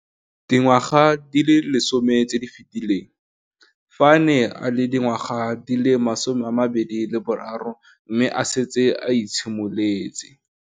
Dingwaga di le 10 tse di fetileng, fa a ne a le dingwaga di le 23 mme a setse a itshimoletse.